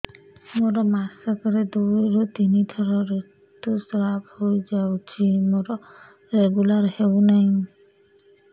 ମୋର ମାସ କ ରେ ଦୁଇ ରୁ ତିନି ଥର ଋତୁଶ୍ରାବ ହେଇଯାଉଛି ମୋର ରେଗୁଲାର ହେଉନାହିଁ